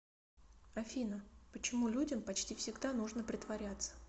афина почему людям почти всегда нужно притворяться